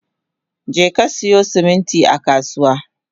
Jeka siyo siminti a kasuwa!